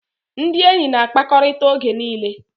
Ndị enyi na-akpakọrịta oge niile